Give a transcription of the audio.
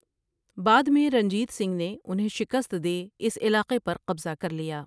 بعد میں رنجیت سنگھ نے انہیں شکست دے اس علاقے پر قبضہ کر لیا ۔